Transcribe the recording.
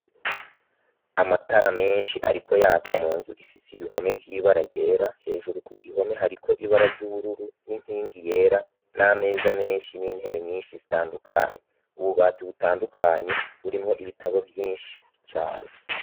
Amatara menshi, ariko yaka mu nzu ifise ibihome vy'ibara ryera hejuru ku gihome hariko ibara ry'ubururu n'inkingi yera n'ameza menshi n'intebe nyinshi zitandukanye ububati butandukanye burimwo ibitabo vyinshi cane.